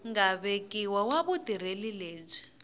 nga vekiwa wa vutirheli lebyi